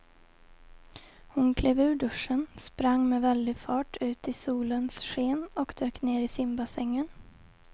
Hon klev ur duschen, sprang med väldig fart ut i solens sken och dök ner i simbassängen.